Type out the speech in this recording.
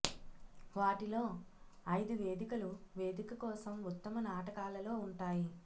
వాటిలో ఐదు వేదికలు వేదిక కోసం ఉత్తమ నాటకాలలో ఉంటాయి